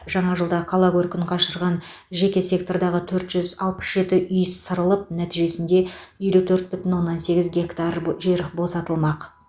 жаңа жылда қала көркін қашырған жеке сектордағы төрт жүз алпыс жеті үй сырылып нәтижесінде елу төрт бүтін оннан сегіз гектар жер босатылмақ